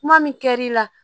Kuma min kɛ l'i la